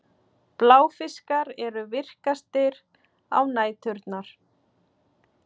Bláfiskar eru virkastir á næturnar.